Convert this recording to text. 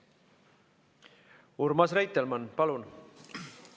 Urmas Reitelmann, palun!